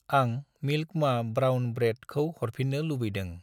आं मिल्क मा brown bread खौ हरफिन्नो लुबैदों